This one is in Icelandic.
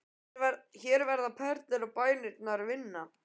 Hér verða orðin perlur og bænirnar vinna.